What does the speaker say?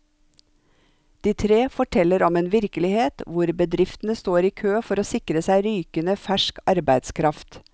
De tre forteller om en virkelighet hvor bedriftene står i kø for å sikre seg rykende fersk arbeidskraft.